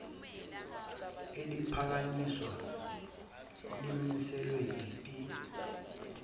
eliphakanyisiwe limiselwe yiphi